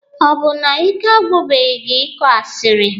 Ọ bụ na ike agwụbeghị gị ịkọ asịrị?